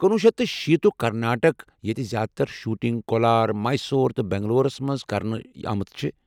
کُنوُہ شیتھ تہٕ شیٖتھ تُک کرناٹک ییٚتہِ زیادٕ تر شوٹنگ کولار ، میسور تہٕ بنگلورس منٛز كرنہٕ آمٕژ چھےٚ۔